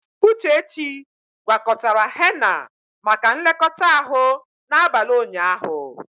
Uchechi gwakọtara henna maka nlekọta ahụ n'abalị ụnyaahụ.